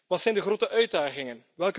Wat zijn de grote uitdagingen?,